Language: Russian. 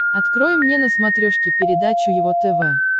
открой мне на смотрешке передачу его тв